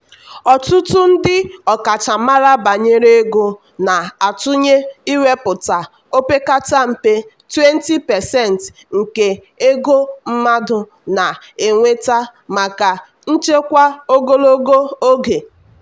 ọtụtụ ndị ọkachamara banyere ego na-atụnye iwepụta opekata mpe 20% nke ego mmadụ na-enweta maka nchekwa ogologo oge.